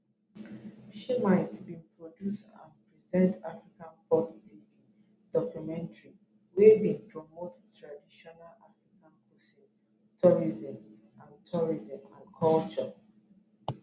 shimite bin produce and present african pot tv documentary wey bin promote traditional african cuisine tourism and tourism and culture